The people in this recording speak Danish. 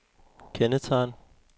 kendetegn